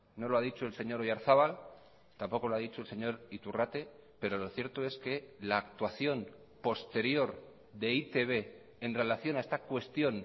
no lo ha dicho el señor oyarzabal tampoco lo ha dicho el señor iturrate pero lo cierto es que la actuación posterior de e i te be en relación a esta cuestión